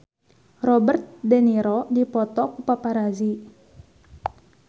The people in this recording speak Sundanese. Robert de Niro dipoto ku paparazi